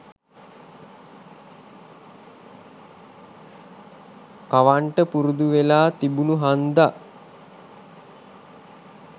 කවන්ට පුරුදු වෙලා තිබුණු හන්දා.